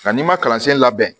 Nka n'i ma kalansen labɛn